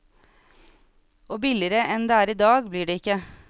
Og billigere enn det er i dag, blir det ikke.